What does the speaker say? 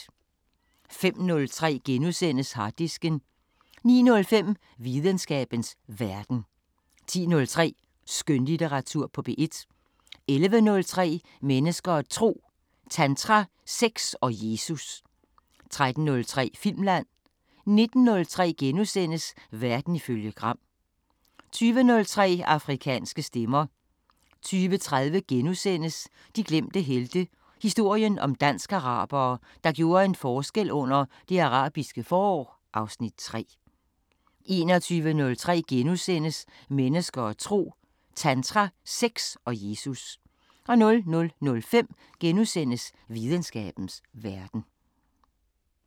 05:03: Harddisken * 09:05: Videnskabens Verden 10:03: Skønlitteratur på P1 11:03: Mennesker og tro: Tantra, sex og Jesus 13:03: Filmland 19:03: Verden ifølge Gram * 20:03: Afrikanske Stemmer 20:30: De glemte helte – historien om dansk-arabere, der gjorde en forskel under Det Arabiske forår (Afs. 3)* 21:03: Mennesker og tro: Tantra, sex og Jesus * 00:05: Videnskabens Verden *